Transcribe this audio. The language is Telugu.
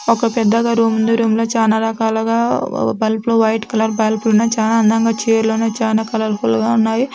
ఒక పెద్దగా రూమ్ ఉంది. రూమ్ లో చాలా రకాలుగా బల్బులు వైట్ కలర్ బల్బులు ఉన్నాయి. చాలా అందంగా చైర్లు ఉన్నాయి. చాలా కలర్ ఫుల్ గా ఉన్నాయి.